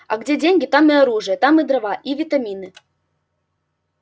а где деньги там и оружие там и дрова и витамины